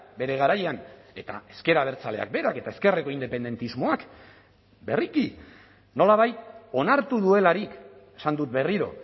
bere garaian eta ezker abertzaleak berak eta ezkerreko independentismoak berriki nolabait onartu duelarik esan dut berriro